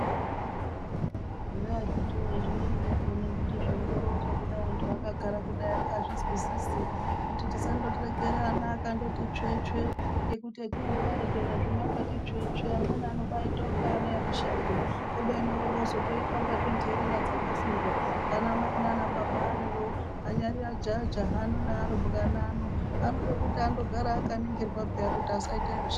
Eya akiti woye ! zvimweni zvakona kuti zveindoronzwa kudai anhu akagara kudai angazvinzwisisi kuti tisandoregera ana akti tsvetsve ngekuti hetinondo arekera zvino akati tsvetsve amweni anoba aita kunga ana emushango kubeni woroozotoita kunga nherera dzakafirwa ana mai nanababa ariyo anyari ajaha naarumbwana ano anode kuti andogara akaningirwa peya kuti asaite matambudziko akanyanya.